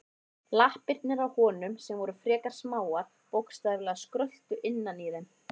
Lappirnar á honum, sem voru frekar smáar, bókstaflega skröltu innan í þeim.